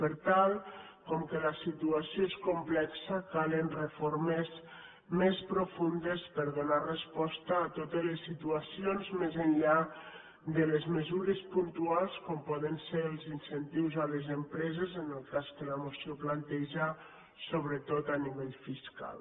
per tant com que la situació és complexa calen reformes més profundes per donar resposta a totes les situacions més enllà de les mesures puntuals com poden ser els incentius a les empreses en el cas que la moció planteja sobretot a nivell fiscal